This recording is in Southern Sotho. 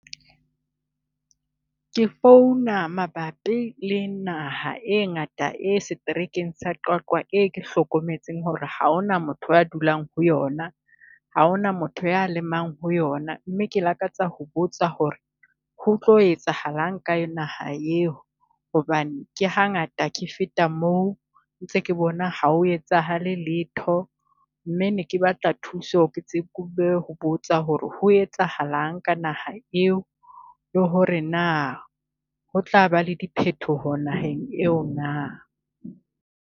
Ke founa mabapi le naha e ngata e setrekeng sa Qwaqwa, e ke hlokometseng hore ha hona motho a dulang ho yona, ha hona motho ya lemang ho yona. Mme ke lakatsa ho botsa hore ho tlo etsahalang ka naha eo? Hobane ke ha ngata ke feta moo ntse ke bona ha ho etsahale letho, mme ne ke batla thuso ke tsebe ho botsa hore ho etsahalang ka naha eo? Le hore naa, ho tlaba le diphetoho naheng eo naa?